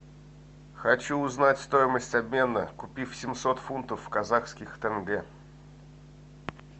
хочу узнать стоимость обмена купив семьсот фунтов в казахских тенге